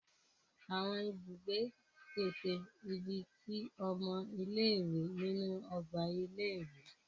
Awọn ibùgbé pèsè ìbí tí ọmọ ile-iwe nínú ọgbà ilé-ìwé.